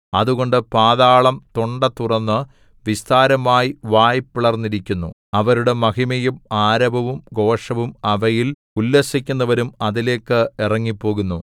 അതുകൊണ്ട് പാതാളം തൊണ്ട തുറന്നു വിസ്താരമായി വായ് പിളർന്നിരിക്കുന്നു അവരുടെ മഹിമയും ആരവവും ഘോഷവും അവയിൽ ഉല്ലസിക്കുന്നവരും അതിലേക്ക് ഇറങ്ങിപ്പോകുന്നു